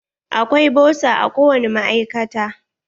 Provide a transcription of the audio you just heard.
Akwai bosa a ko wani ma'aikata.